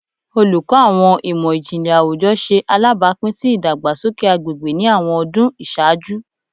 Oluko Awọn Imọ-jinlẹ Awujọ ṣe alabapin si idagbasoke agbegbe ni awọn ọdun iṣaaju